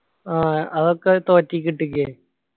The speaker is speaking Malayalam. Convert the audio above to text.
ആഹ് അതൊക്കെ തോറ്റേയ്ക്ക് ഇട്ടുക്കു